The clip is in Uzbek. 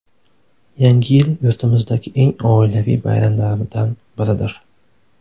Yangi yil yurtimizdagi eng oilaviy bayramlardan biridir.